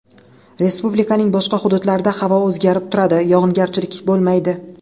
Respublikaning boshqa hududlarida havo o‘zgarib turadi, yog‘ingarchilik bo‘lmaydi.